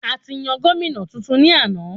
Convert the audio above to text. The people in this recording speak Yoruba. A ti yan gómìnà tuntun ní àna